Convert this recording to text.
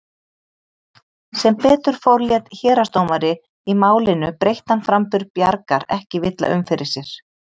Sem betur fór lét héraðsdómari í Málinu breyttan framburð Bjargar ekki villa um fyrir sér.